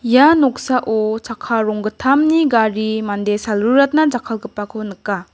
ia noksao chakka ronggittamni gari mande salruratna jakkalgipako nika.